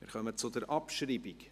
Wir kommen zur Abschreibung.